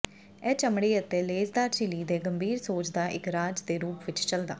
ਇਹ ਚਮੜੀ ਅਤੇ ਲੇਸਦਾਰ ਝਿੱਲੀ ਦੇ ਗੰਭੀਰ ਸੋਜ ਦਾ ਇੱਕ ਰਾਜ ਦੇ ਰੂਪ ਵਿੱਚ ਚੱਲਦਾ